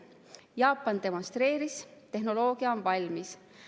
Jaapan demonstreeris, et tehnoloogia on valmis.